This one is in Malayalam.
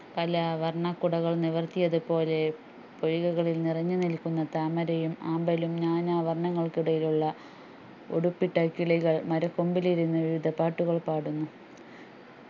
പലവർണ്ണകുടകൾ നിവർത്തിയതുപോലെ പൊയ്കകളിൽ നിറഞ്ഞുനിൽക്കുന്ന താമരയും ആമ്പലും നാനാവർണ്ണങ്ങൾക്കിടയിലുള്ള ഉടുപ്പിട്ട കിളികൾ മരക്കൊമ്പിലിരുന്ന പാട്ടുകൾപാടുന്നു